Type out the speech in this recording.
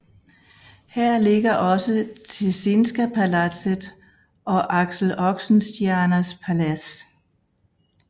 Her ligger også Tessinska palatset og Axel Oxenstiernas Palads